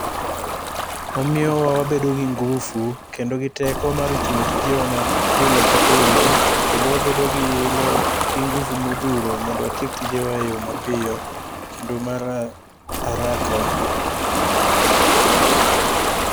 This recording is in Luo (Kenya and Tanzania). Omiyowa wabedo gi ngufu kendo gi teko mar tiyo tijewa pile ka pile kendo wabedo gi hilo gi nguvu mothuro mondo watiek tijewa e yo mapiyo kendo mar haraka.